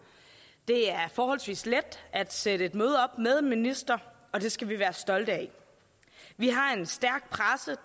det er forholdsvis let at sætte et møde op med en minister og det skal vi være stolte af vi har en stærk presse